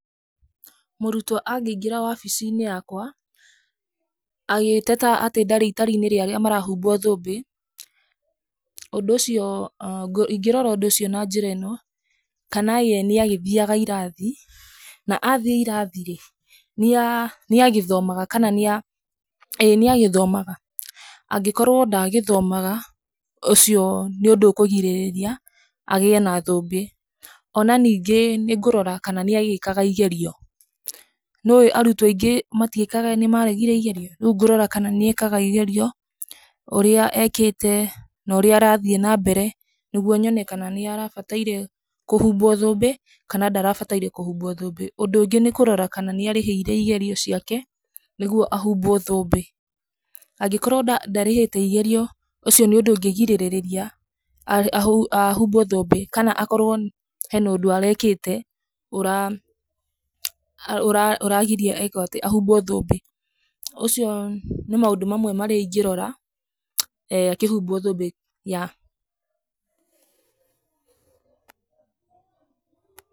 Mũrũtwo angĩingĩra wabici-inĩ yakwa agĩteta atĩ ndarĩ itari-inĩ rĩa arĩa marahumbwo thũmbĩ ũndũ ũcio, ingĩrora ũndũ ũcio na njĩra ino kana ye nĩagĩthiaga ĩrathi na athiĩ ĩrathi-rĩ nĩa nĩagĩthomaga kana nĩa nĩagĩthomaga, angĩkorwo ndagĩthomaga ũcio nĩ ũndũ ũkũgirĩrĩria agĩe na thũmbĩ onaningĩ kũrora kana nĩagĩkaga ĩgerio. Nĩũĩ arũtwo aingĩ matiĩkaga nĩmaregire ĩgerio, rĩũ ngũroga kana nĩekaga ĩgerio, ũrĩa ekĩte norĩa arathiĩ nambere nĩgũo nyone kana nĩrabataire kũhumbwo thũmbĩ kana ndarabataire kũhumbwo thũmbĩ. Ũndũ ũngĩ nĩkũrora kana nĩarĩhĩire igerio ciake nĩgũo ahumbwo thũmbĩ, angikorwo ndarĩhĩte igerio ũcio nĩ ũndũ ũngĩgirĩrĩria ahumbwo thũmbĩ kana akorwo hena ũndũ arekĩte ũra ũragiria ekwatĩ ahumbwo thũmbĩ. Ũcio nĩ maũndũ marĩa ingĩrora akĩhumbwo thũmbĩ ya